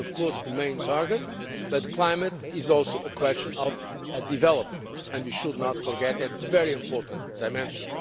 This is, of course, the main target, but the climate is also a question of a development, and we should not forget that very important dimension.